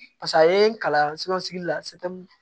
Paseke a ye n kalan la